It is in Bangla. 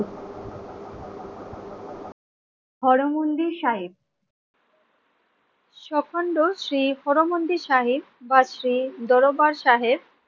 হর মন্দির সাহেব সকন্দ শ্রী হরমন্দি শাহী বা শ্রী দরবার সাহেব